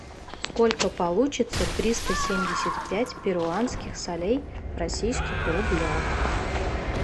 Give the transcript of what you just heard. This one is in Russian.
сколько получится триста семьдесят пять перуанских солей в российских рублях